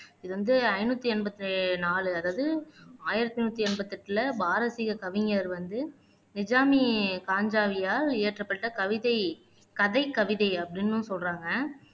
இது வந்து ஐநூத்தி எண்பத்தி நாலு அதாவது ஆயிரத்து நூத்தி எண்பத்தி எட்டுல பாரசீக கவிஞர் வந்து நிஜாமி பாஞ்சாலியால் இயற்றப்பட்ட கவிதை, கதைக்கவிதை அப்படின்னும் சொல்றாங்க.